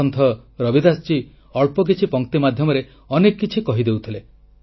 ସନ୍ଥ ରବିଦାସଜୀ ଅଳ୍ପ କିଛି ପଂକ୍ତି ମାଧ୍ୟମରେ ଅନେକ କିଛି କହି ଦେଉଥିଲେ